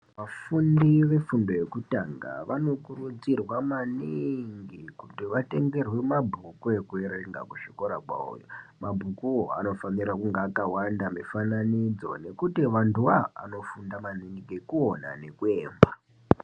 Vafundi vefundo yekutanga vanokurudzirwa maniingi kuti vatengerwe mabhuku ekuerenga kuzvikora kwavoyo. Mabhukuvo anofanakunga akavanda mifananidzo nekuti vantuvo ava vanofunda maningi, nekuona nekuemba.